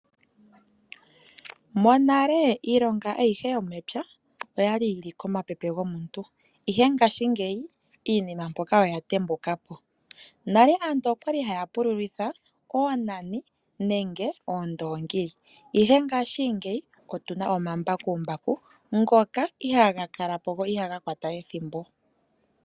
Monale iilonga ayihe yomepya oya li yili komapepe gomuntu ihe ngashingeyi iinima mpoka oya tembukapo. Nale aantu okwali haya pululitha oonani nenge oondoongi ihe ngashingeyi otuna omambakumbaku ngoka ihaga kalapo go ihaga kwata ethimbo .